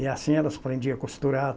E assim elas aprendiam a costurar